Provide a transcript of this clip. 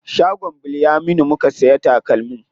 Shagon Bilyaminu muka siya takalmin.